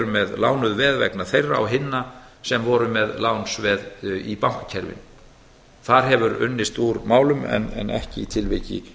með lánuð veð vegna þeirra og hinna sem voru með lánsveð í bankakerfinu þar hefur unnist úr málum en ekki í